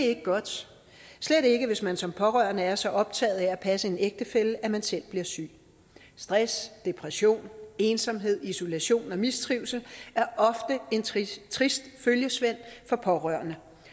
ikke godt slet ikke hvis man som pårørende er så optaget af at passe en ægtefælle at man selv bliver syg stress depression ensomhed isolation og mistrivsel er ofte en trist trist følgesvend for pårørende